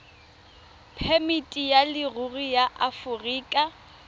phemiti ya leruri ya aforika